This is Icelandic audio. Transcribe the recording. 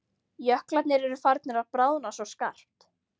Jöklarnir eru farnir að bráðna svo skarpt.